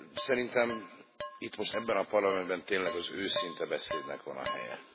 Szerintem itt most ebben a Parlamentben tényleg az őszinte beszédnek van a helye.